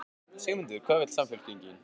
Sigmundur: Hvað vill Samfylkingin?